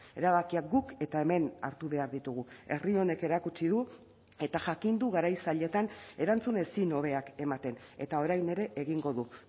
erabakiak guk eta hemen hartu behar ditugu herri honek erakutsi du eta jakin du garai zailetan erantzun ezin hobeak ematen eta orain ere egingo du